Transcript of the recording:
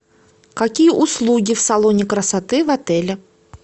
какие услуги в салоне красоты в отеле